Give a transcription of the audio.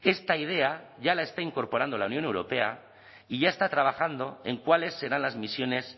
esta idea ya la está incorporando la unión europea y ya está trabajando en cuáles serán las misiones